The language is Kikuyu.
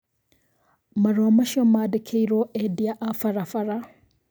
Marua macio mandĩkĩirwo endia a barabara